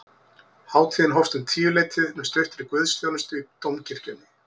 Hátíðin hófst um tíuleytið með stuttri guðsþjónustu í dómkirkjunni